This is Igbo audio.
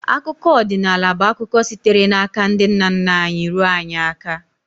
Akụkọ odịnaala bụ akụkọ sitere n’aka ndị nna nna anyị ruo anyị aka.